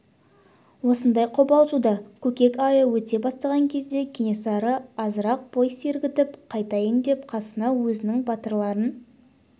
осындай қобалжуда көкек айы өте бастаған кезде кенесары азырақ бой сергітіп қайтайын деп қасына өзінің батырларын